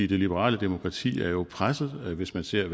det liberale demokrati er jo presset hvis man ser